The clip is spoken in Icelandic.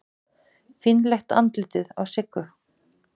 Fínlegt andlitið á Siggu.